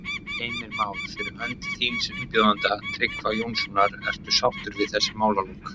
Heimir Már: Fyrir hönd þíns umbjóðanda, Tryggva Jónssonar, ertu sáttur við þessi málalok?